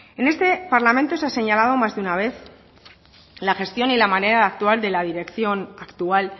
en este parlamento se ha señalado más de una vez la gestión y la manera de actuar de la dirección actual